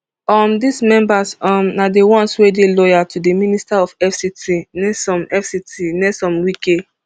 um dis members um na di ones wey dey loyal to di minister of fct nyesom fct nyesom wike